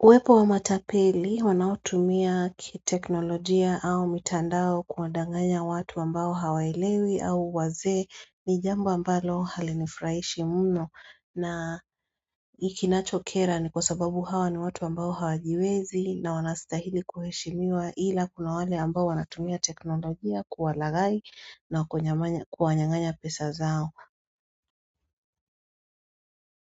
Uwepo wa matapeli wanaotumia kiteknolojia au mitandao kuwandanganya watu ambao hawaelewi au wazee ni jambo ambalo halinifurahishi mno na ikinacho kera ni kwa sababu hawa ni watu ambao hawajiwezi na wanastahili kuheshimiwa ila kuna wale ambao wanatumia teknolojia kuwalaghai na kuwanyang'anya pesa zao.